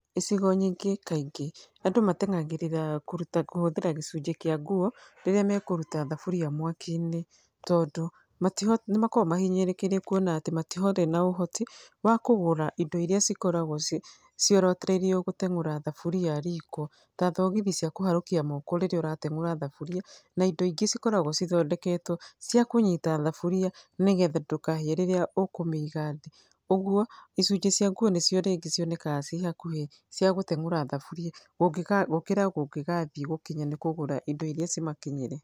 icigo nyingĩ kaingĩ andũ matengagĩrĩra kũruta kũhũthĩra gĩcunjĩ kĩa nguo, rĩrĩa mekũruta thaburia mwaki-inĩ, tondũ matiho nĩ makoragwo mahinyĩrĩrĩkĩire kuona atĩ matirĩ na ũhoti wa kũgũra indo iria cikoragwo ciorotereirio gũtengũra thaburia riko, ta thogithi cia kũharũkia moko rĩrĩa ũratengũra thaburia, na indo ingĩ cikoragwo cithondeketwo cia kũnyita thaburia nĩgetha ndũkahĩe rĩrĩa ũkũmĩiga thĩ, ũguo icunjĩ cia nguo nĩ cio rĩngĩ cionekaga ciĩ hakuhĩ cia gũtengũra thaburia, kũngĩ gũkĩra kũngĩgathiĩ gũkinya nĩ kũgũra indo iria cimakinyĩre.